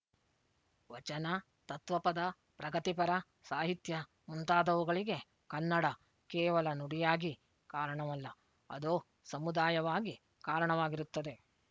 ವಚನ ತತ್ವಪದ ಪ್ರಗತಿಪರ ಸಾಹಿತ್ಯ ಮುಂತಾದವುಗಳಿಗೆ ಕನ್ನಡ ಕೇವಲ ನುಡಿಯಾಗಿ ಕಾರಣವಲ್ಲ ಅದು ಸಮುದಾಯವಾಗಿ ಕಾರಣವಾಗಿರುತ್ತದೆ